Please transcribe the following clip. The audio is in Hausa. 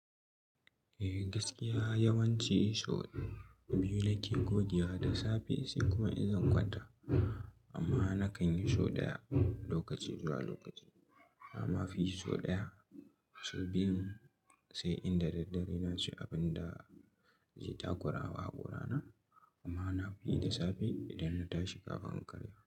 Eh gaskiya yawanci sau biyu nake goge da safe sai kuma in zan kwanta. Amma na kan yi show ɗaya lokaci zuwa lokaci. Amma fi sau ɗaya show biyu sai inda daddare na ci abin da zai takurawa a gorana kuma na fi yi da safe idan na tashi kafin karyawa.